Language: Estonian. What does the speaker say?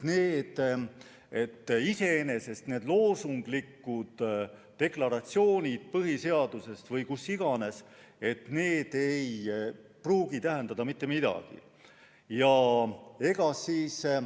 Iseenesest need loosunglikud deklaratsioonid põhiseadustes või kus iganes ei pruugi tähendada mitte midagi.